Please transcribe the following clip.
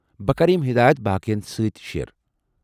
بہٕ كرٕ یِم ہدایت باقین سۭتۍ تہِ شیر ۔